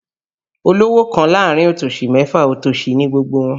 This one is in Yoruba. Olówò kan láàrin otòsì mẹ́fa, otòsì ni gbogbo wọn